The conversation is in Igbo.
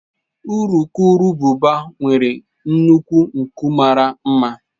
Urukurububa nwere nnukwu nku mara mma.